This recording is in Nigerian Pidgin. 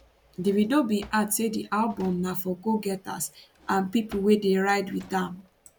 davido bin add say di album na for go getters and pipo wey dey ride wit am